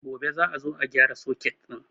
Gobe za a zo a gyara soket ɗin